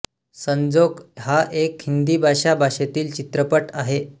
संजोग हा एक हिंदी भाषा भाषेतील चित्रपट आहे